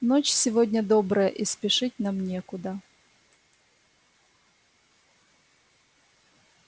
ночь сегодня добрая и спешить нам некуда